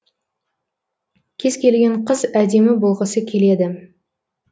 кез келген қыз әдемі болғысы келеді